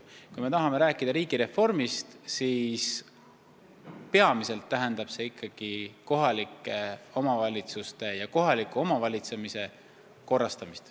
Kui me tahame rääkida riigireformist, siis peamiselt tähendab see ikkagi kohalike omavalitsuste ja kohaliku omavalitsemise korrastamist.